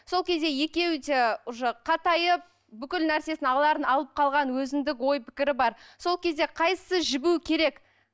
сол кезде екеуі де уже қатайып бүкіл нәрсесін аларын алып қалған өзіндік ой пікірі бар сол кезде қайсысы жібуі керек